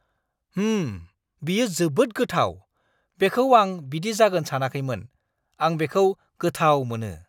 होम! बेयो जोबोद गोथाव, बेखौ आं बिदि जागोन सानाखैमोन। आं बेखौ गोथाव मोनो!